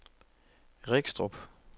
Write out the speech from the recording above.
Regstrup